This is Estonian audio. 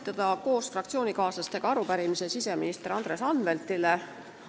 Tahan koos fraktsioonikaaslastega esitada arupärimise siseminister Andres Anveltile.